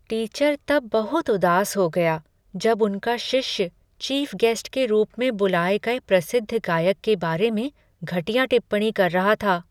Teacher तब बहुत उदास हो गया जब उनका शिष्य चीफ गेस्ट के रूप में बुलाये गए प्रसिद्ध गायक के बारे में घटिया टिप्पणियां कर रहा था।